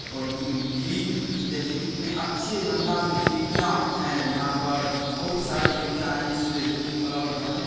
--और ग्रीन-ग्रीन देखिए कितने अच्छे अंदाज में खिड़कियां हैं यहाँ पर बहुत सारी खिड़कियां है इस तीन फ्लोर घर में--